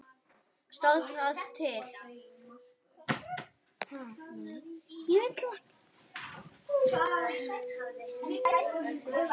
Elsku stóri bróðir minn.